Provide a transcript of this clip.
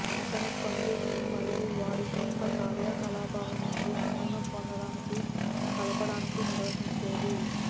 అతను సంపాదిస్తూ మరియు వారి సొంత కార్యకలాపాలను నుండి ఆనందం పొందడానికి కలపడానికి నిర్వహించేది